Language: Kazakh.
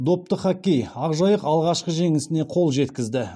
допты хоккей ақжайық алғашқы жеңісіне қол жеткізді